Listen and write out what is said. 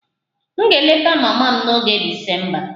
M ga-eleta mama m n'oge Disemba